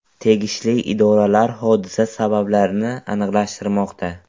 Tegishli idoralar hodisa sabablarini aniqlashtirmoqda.